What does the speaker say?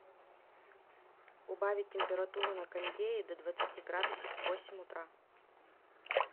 убавить температуру на кондее до двадцати градусов в восемь утра